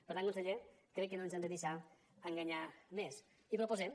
per tant conseller crec que no ens hem de deixar enganyar més i proposem